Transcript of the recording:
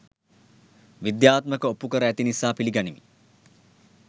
විද්‍යාත්මකව ඔප්පු කර ඇති නිසා පිළිගනිමි